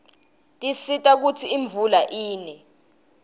tisisita kutsi imvula ine